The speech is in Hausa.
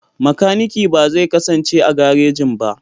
Makanikin ba zai kasance a garejin ba.